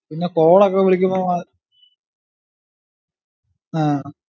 പിന്നെ call ക്കെ വിളിക്കുമ്പോ ഏർ ആഹ്